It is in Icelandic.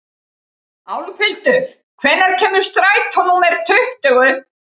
Álfhildur, hvenær kemur strætó númer tuttugu?